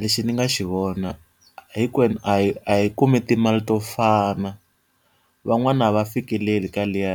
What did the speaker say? Lexi ndzi nga xi vona hinkwenu a yi a yi kumi timali to fana, van'wani a va fikeleli ka liya